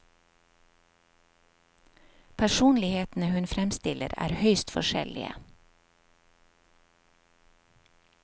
Personlighetene hun fremstiller er høyst forskjellige.